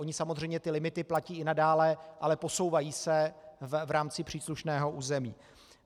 Ony samozřejmě ty limity platí i nadále, ale posouvají se v rámci příslušného území.